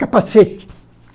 Capacete!